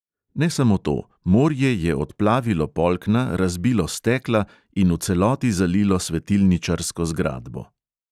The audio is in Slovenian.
Ne samo to, morje je odplavilo polkna, razbilo stekla in v celoti zalilo svetilničarsko zgradbo.